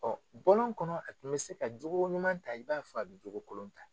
bɔlɔn kɔnɔ a tun bɛ se ka jogo ɲuman ta i b'a fo a bɛ jogo kolon ta.